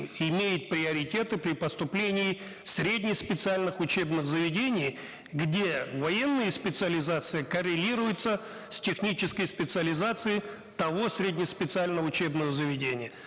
имеют приоритеты при поступлении в средне специальных учебных заведениях где военные специализации коррелируются с технической специализацией того средне специального учебного заведения